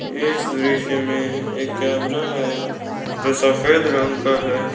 इस दृश्य में एक कैमरा है जो सफेद रंग का है।